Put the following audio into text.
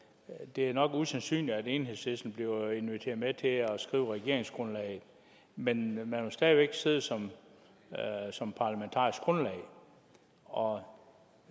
det nok er usandsynligt at enhedslisten bliver inviteret med til at skrive regeringsgrundlaget men man vil stadig væk sidde som som parlamentarisk grundlag og